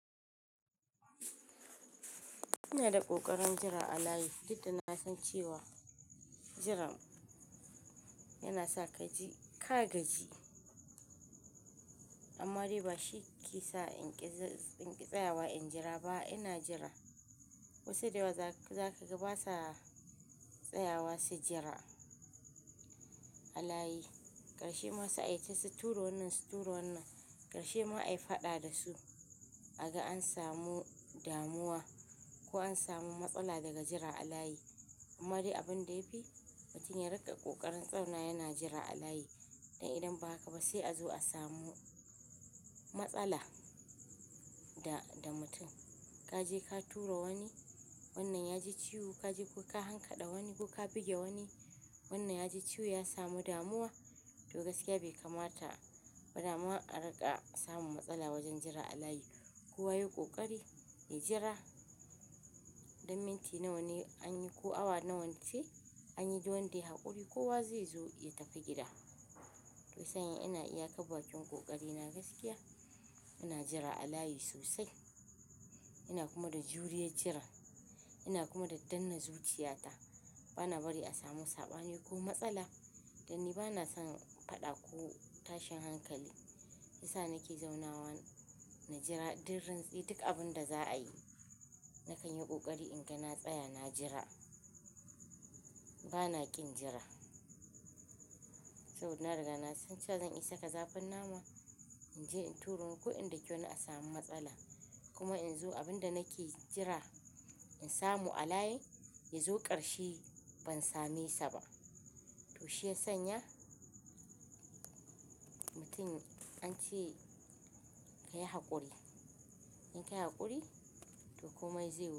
Ina da ƙoƙarin jira alayi, duk da na san cewa jiran yana sa kaji ka gaji, amma dai ba shi ke sa inƙi tsayawa in jira ba. Ina jira wasu da yawa za su ga ba sa tsayawa su jira alayi, ƙarshe ma su aiki su ture wannan, su ture wannan, ƙarshe ma ai faɗa da su kaga an samu damuwa ko an samu matsala daga jira alayi. Amma dai abin da ya fi, mutum ya riƙa ƙoƙarin tsaya yana jira alayi, don idan ba haka ba sai a zo a samu matsala da, da mutum. Ka je ka tura wani, wannan ya ji ciwo, ka je ka hankaɗa wani ko ka buge wani, wannan ya ji ciwo ya samu damuwa. To gaskiya bai kamata ba dama a riƙa samun matsala wajen jira alayi. Kowa yayi ƙoƙari ya jira don minti nawa ne anyi ko awa nawa ce anyi, duk wanda yayi haƙuri kowa zai zo ya tafi gida. Shiyasa ina iya kar bakin ƙoƙari na gaskiya, ina jira alayi sosai. Ina kuma da juriyar jiran, ina kuma da danna zuciyata. Bana bari a samu saɓani ko matsala. Dan ni bana son faɗa ko tashin hankali. Sa nake zauna nan na jira duk rintsi duk abun da za a yi. Na kan yi ƙoƙari in ga na tsaya na jira. Bana ƙin jira. Saboda na riga na san cewa zan isa ka zafin nama, in je in turo kuɗin daki wani a samu matsala. Kuma in zo abin da nake jira in samu alayi, ya zo ƙarshe ban same sa ba. To shiyasanya mutum an ce ka yi hakuri. In ka yi hakuri, to komai zai.